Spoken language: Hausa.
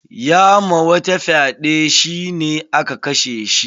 Ya ma wata fyaɗe, shi ne aka kashe shi.